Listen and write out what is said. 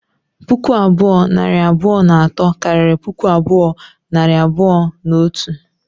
Puku abụọ, nari abụọ na atọ, karịrị puku abụọ, nari abụọ na otu